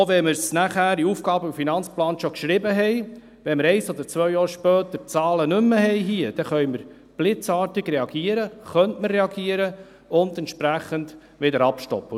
Auch wenn wir es nachher im AFP schon geschrieben haben, wenn wir ein oder zwei Jahre später die Zahlen hier nicht mehr haben, könnten wir blitzartig reagieren, könnte man reagieren und es entsprechend wieder stoppen.